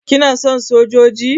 kana son sojoji?